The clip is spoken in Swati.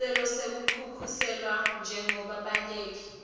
sicelo sekukhuseliswa njengebabaleki